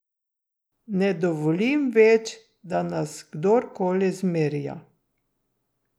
Ne dovolim več, da nas kdorkoli zmerja.